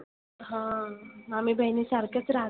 हा आम्ही बहिणी सारखच राहतो.